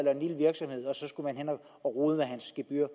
virksomhed og så skulle man rode med hans gebyr